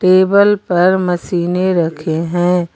Table पर मशीनें रखी हैं।